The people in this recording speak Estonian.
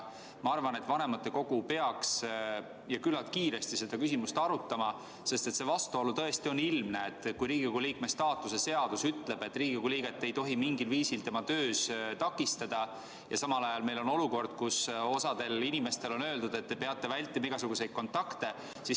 Ka mina arvan, et vanematekogu peaks üsna kiiresti seda küsimust arutama, sest vastuolu on tõesti ilmne: Riigikogu liikme staatuse seadus ütleb, et Riigikogu liiget ei tohi mingil viisil tema töös takistada, ja samal ajal on meil olukord, kus osale inimestele on öeldud, et te peate vältima igasuguseid kontakte.